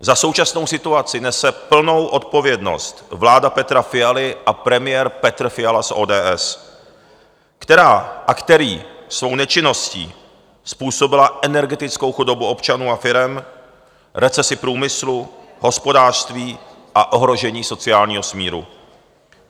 Za současnou situaci nese plnou odpovědnost vláda Petra Fialy a premiér Petr Fiala z ODS, která a který svou nečinností způsobili energetickou chudobu občanů a firem, recesi průmyslu, hospodářství a ohrožení sociálního smíru.